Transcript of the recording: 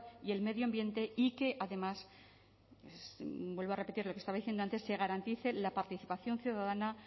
y el medio ambiente y que además vuelvo a repetir lo que estaba diciendo antes se garantice la participación ciudadana